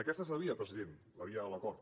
aquesta és la via president la via de l’acord